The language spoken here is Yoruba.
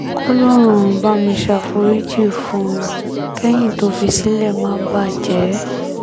kòlòròrun bá mi ṣàforíjì fún un kẹ́yìn tó fi sílẹ̀ má bàjẹ́